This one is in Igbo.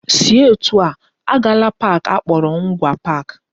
Si etu a! Agala park akpọrọ Ngwa Park